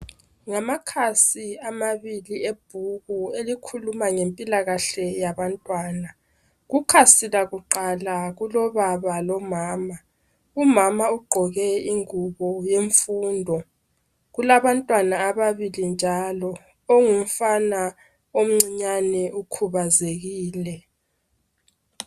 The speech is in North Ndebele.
Ngamakhasi amabili ebhuku elikhuluma ngempilakahle yabantwana. Kukhasi lakuqala kulobaba lomama. Umama ugqoke ingubo yemfundo. Kulabantwana ababili njalo. Ongumfana omncinyane ukhubazekile.